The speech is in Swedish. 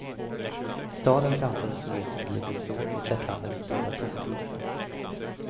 Staden framför oss såg ut som ett litet sår på slättlandets stora, tomma yta.